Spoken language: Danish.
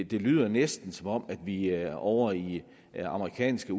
det lyder næsten som om vi er ovre i amerikanske